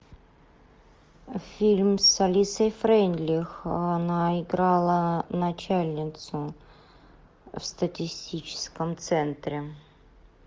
фильм с алисой фрейндлих она играла начальницу в статистическом центре